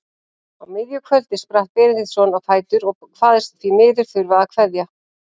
Á miðju kvöldi spratt Benediktsson á fætur og kvaðst því miður þurfa að kveðja.